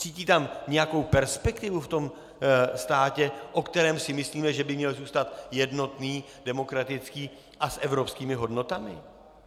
Cítí tam nějakou perspektivu, v tomto státě, o kterém si myslím, že by měl zůstat jednotný, demokratický a s evropskými hodnotami?